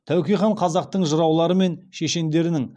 тәуке хан қазақтың жыраулары мен шешендеріні